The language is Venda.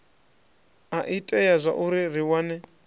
a itea zwauri ri wane